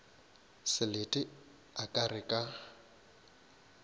selete a ka re ka